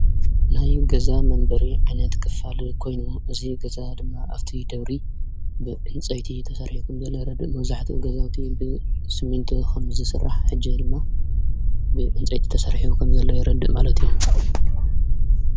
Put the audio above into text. ናይ ገዛ መንበሪ ዓይነት ክፋል ኮይኑዎ እዙይ ገዛ ድማ ኣፍቲ ደብሪ ብእንፀይቲ ተሠርሒ ኸም ዘለ ይረድእ መወዙሕቲ እገዛዊቲ ብስሚንቶ ኸምሥራሕ ሕጀ ድማ ብዕንፀይቲ ተሠርሒቡ ከም ዘለ ይረድእ ማለት እዩ።